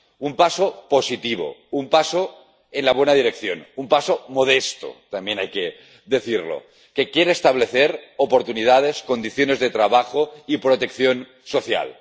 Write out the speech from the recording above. Un paso positivo, un paso en la buena dirección, un paso modesto —también hay que decirlo― que quiere establecer oportunidades, condiciones de trabajo y protección social.